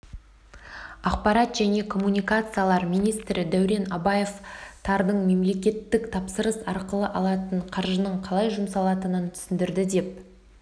ақпарат және коммуникациялар министрі дәурен абаев тардың мемлекеттік тапсырыс арқылы алатын қаржының қалай жұмсалатынын түсіндірді деп